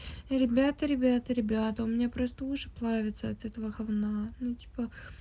ребята ребята ребята у меня просто уши плавятся от этого говна ну типа